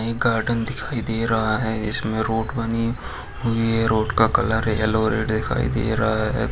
ये गार्डन दिखाई दे रहा है इसमें रोड बानी हुई है रोड का कलर येलो और रेड दिखाई दे रहा हैं।